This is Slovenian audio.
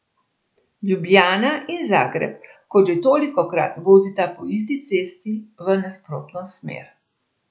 Ljubljana in Zagreb, kot že tolikokrat, vozita po isti cesti v nasprotno smer.